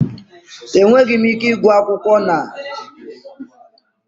Enweghị m ike ịgụ akwụkwọ na-enweghị oriọna tebụl